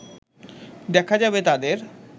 দেখা যাবে তাদের